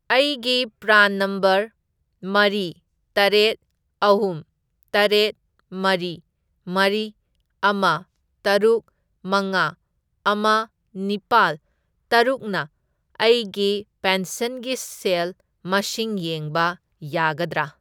ꯑꯩꯒꯤ phone number ꯃꯔꯤ, ꯇꯔꯦꯠ, ꯑꯍꯨꯝ, ꯇꯔꯦꯠ, ꯃꯔꯤ, ꯃꯔꯤ, ꯑꯃ, ꯇꯔꯨꯛ, ꯃꯉꯥ, ꯑꯃ, ꯅꯤꯄꯥꯜ, ꯇꯔꯨꯛꯅ ꯑꯩꯒꯤ ꯄꯦꯟꯁꯟꯒꯤ ꯁꯦꯜ ꯃꯁꯤꯡ ꯌꯦꯡꯕ ꯌꯥꯒꯗ꯭ꯔꯥ?